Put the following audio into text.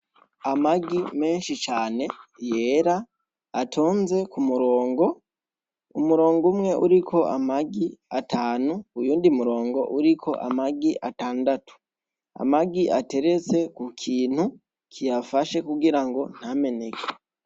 Amagi menshi cane yera atonze k'umurongo , Umurongo umwe uriko amagi atanu uyundi murongo uriko amagi atandatu amagi ateretse k'ukintu kiyafashe kugirango ntameneke.